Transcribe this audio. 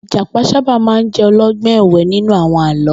Ijàpá sàbá má n jè òlògbòn èwè ninú áwòn àlõ